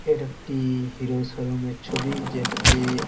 এটা একটি হিরো শোরুম এর ছবি যেটাতে --